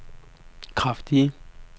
kraftige